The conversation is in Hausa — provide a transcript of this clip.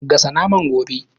Gasa naman gobe